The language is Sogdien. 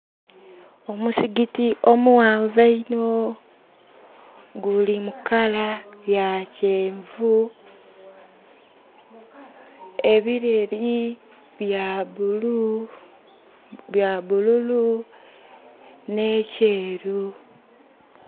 Omuzikiti omuwanvu eino guli mu kala ya kyenvu, ebireri bya bulu, bya bululu ne kyeru